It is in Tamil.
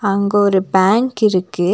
அங்க ஒரு பேங்க் இருக்கு.